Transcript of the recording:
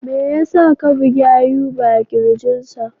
Me yasa ka bugi Ayuba a kirjinsa?